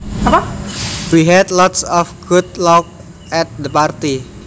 We had lots of good laughs at the party